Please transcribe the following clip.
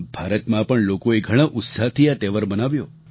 ભારતમાં પણ લોકોએ ઘણા ઉત્સાહથી આ તહેવાર મનાવ્યો